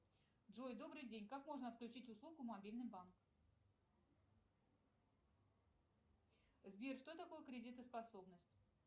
джой добрый день как можно отключить услугу мобильный банк сбер что такое кредитоспособность